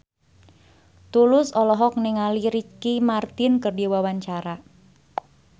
Tulus olohok ningali Ricky Martin keur diwawancara